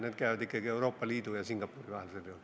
Need käivad ikkagi Euroopa Liidu ja Singapuri vahel sel juhul.